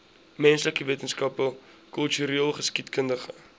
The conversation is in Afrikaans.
menslike wetenskappe kultureelgeskiedkundige